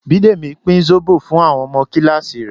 Bidemi pín zobo fún àwọn ọmọ kíláàsì rẹ̀